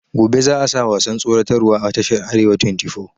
Gobe za a sa wasan tsoratar wa a tashar arewa twenty four